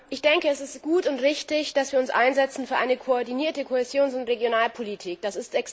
Ich denke, es ist gut und richtig, dass wir uns für eine koordinierte Kohäsions und Regionalpolitik einsetzen.